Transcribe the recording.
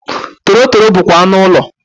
Torotoro bụkwa anụ ụlọ.